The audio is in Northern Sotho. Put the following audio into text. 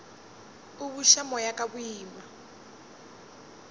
a buša moya ka boima